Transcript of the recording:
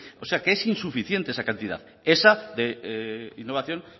o sea que es insuficiente esa cantidad esa innovación